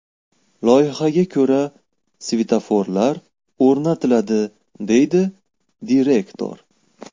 Loyihaga ko‘ra, svetoforlar o‘rnatiladi”, – deydi direktor.